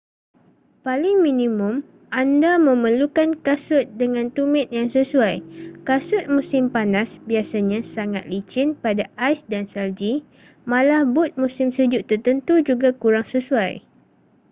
paling minimum anda memerlukan kasut dengan tumit yang sesuai kasut musim panas biasanya sangat licin pada ais dan salji malah but musim sejuk tertentu juga kurang sesuai